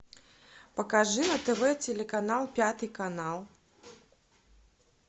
покажи на тв телеканал пятый канал